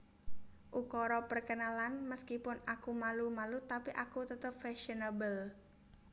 Ukara Perkenalan Meskipun aku malu malu tapi aku tetep fasionable